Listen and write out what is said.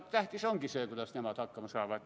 Tähtis ongi see, kuidas nemad hakkama saavad.